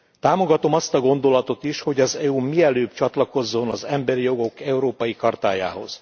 Támogatom azt a gondolatot is, hogy az EU mielőbb csatlakozzon az Emberi Jogok Európai Chartájához.